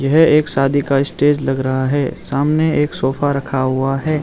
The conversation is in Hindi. यह एक शादी का स्टेज लग रहा है सामने एक सोफा रखा हुआ है।